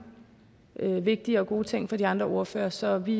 vigtige og gode ting af de andre ordførere så vi